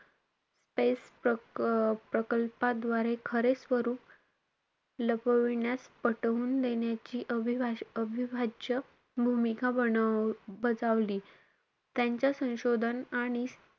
Space प्रकल्पाद्वारे खरे स्वरूप लपिवण्यास पटवून देण्याची अविभ~ अविभाज्य भूमिका बनव~ बजावली. त्यांच्या संशोधन आणि,